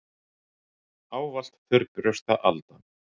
Ávallt þurrbrjósta Alda.